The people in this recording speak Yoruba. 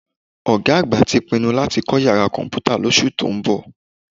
Ọ̀gá àgbà tí pinnu láti kọ́ yàrá Kọ̀m̀pútà lóṣù tó ń bọ̀